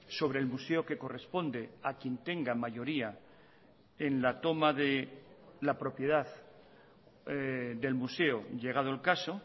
sobre el museo que corresponde a quién tenga mayoría en la toma de la propiedad del museo llegado el caso